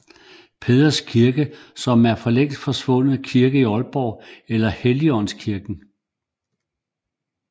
Peders Kirke som en længst forsvunden kirke i Aalborg eller Helligaandskirken